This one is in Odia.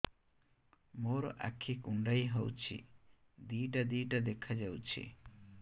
ମୋର ଆଖି କୁଣ୍ଡାଇ ହଉଛି ଦିଇଟା ଦିଇଟା ଦେଖା ଯାଉଛି